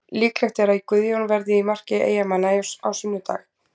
Líklegt er að Guðjón verði í marki Eyjamanna á sunnudag.